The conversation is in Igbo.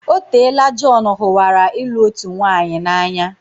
Otela Jon hụwara ịlụ otu nwaanyị n'anya.